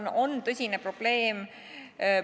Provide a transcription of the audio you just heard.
See on tõsine probleem.